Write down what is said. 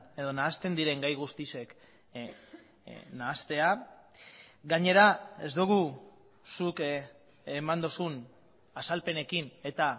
edo nahasten diren gai guztiek nahastea gainera ez dugu zuk eman duzun azalpenekin eta